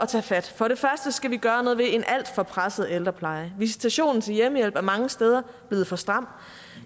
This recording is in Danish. tage fat for det første skal vi gøre noget ved en alt for presset ældrepleje visitationen til hjemmehjælp er mange steder blevet for stram